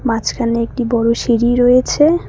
মাঝখানে একটি বড় সিঁড়ি রয়েছে।